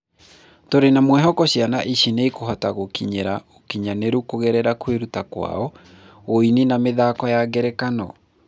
Tũrĩ na mwĩhoko ciana ici nĩikũhota gũkinyĩra ũkinyanĩru kũgerera kwĩrutĩra kwao; uini na mĩthako ya ngerekano